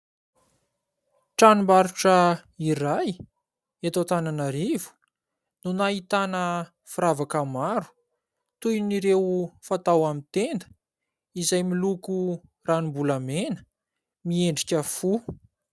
Tranom-barotra iray, eto Antananarivo no ahitana firavaka maro toy ireo fatao amin'ny tenda, izay miloko ranombolamena miendrika fo.